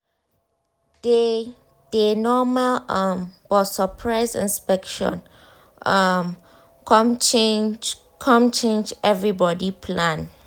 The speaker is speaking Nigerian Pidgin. day dey normal um but surprise inspection um come change come change everybody plan.